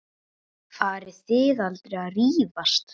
Farið þið aldrei að rífast?